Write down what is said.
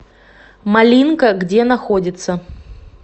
малинка где находится